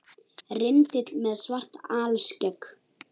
Rindill með svart alskegg